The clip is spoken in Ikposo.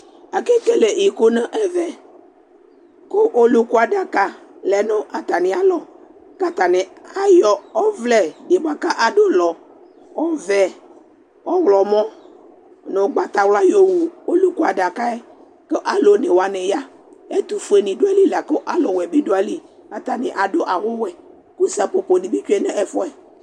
Akekele ɩkʊ nʊ ɛvɛ, kʊ ɔlʊkʊ adaka lɛ nʊvatamɩ alɔ, katanɩ aƴɔ ɔvlɛ adʊlɔ vɛ, ɔwlɔmɔ nʊ ʊgbatawla yɔwʊ ɔlʊkʊ adaka ƴɛ Alʊ one wanɩ ya Ɛtufʊe nɩ ya lakʊ ɛtʊwɛ nɩ bɩ dʊ aƴɩlɩ Atanɩ adʊ awʊ wɛ kʊ saƒoƒo nɩ bɩ tsʊe nɛfʊɛ